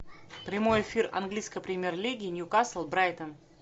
прямой эфир английской премьер лиги ньюкасл брайтон